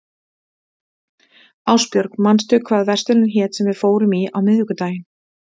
Ástbjörg, manstu hvað verslunin hét sem við fórum í á miðvikudaginn?